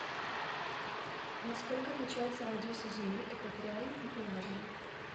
на сколько отличаются радиусы земли экваториальный и полярный